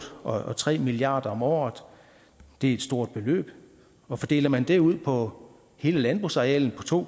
og tre milliard kroner om året det er et stort beløb og fordeler man det ud på hele landbrugsarealet på to